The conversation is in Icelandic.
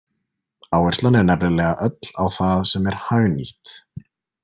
Áherslan er nefnilega öll á það sem er „hagnýtt“.